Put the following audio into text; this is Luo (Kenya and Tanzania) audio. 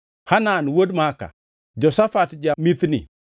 Hanan wuod Maaka, Joshafat ja-Mithni,